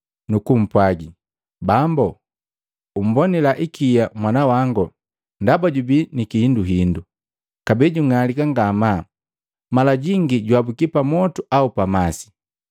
nukupwaga, “Bambu umbonila hikia mwana wango ndaba jubi ni kihinduhindu, kabee jung'alika ngamaa, mala jingi juhabuki pamotu au mmasi.